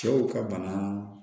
Cɛw ka bana